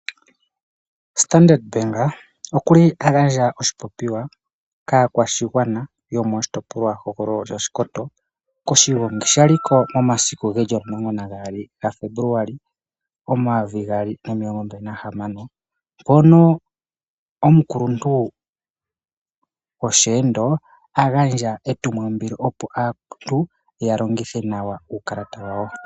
Standard bank okuli a gandja oshipopiwa kaakwashigwana yomoshitopololwa hogololo shaShikoto koshigongi shaliko omulongo na gaali ga Febuluali omayovi gaali nomilongo mbali nahamano mpono omukuluntu gosheendo a gandja etumwalaka opo aantu ya longithe nawa uukalata wawo.